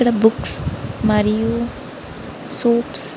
ఇక్కడ బుక్స్ మరియు సూప్స్ --